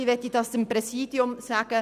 Ich möchte das Präsidium fragen: